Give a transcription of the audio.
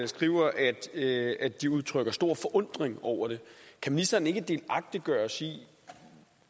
skriver at at de udtrykker stor forundring over det kan ministeren ikke delagtiggøre os i